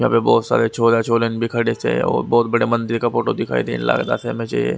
यहाँ पे बहुत सारे छोरा छोरन भी खड़े से और बहुत बड़े मंदिर का फोटो दिखाई थे इन लास में चाहिए--